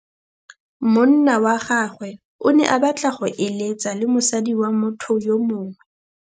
Monna wa gagwe o ne a batla go êlêtsa le mosadi wa motho yo mongwe.